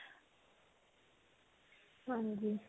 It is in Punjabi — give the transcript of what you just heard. ਹਾਂਜੀ.